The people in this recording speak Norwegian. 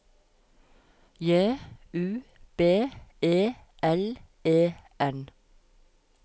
J U B E L E N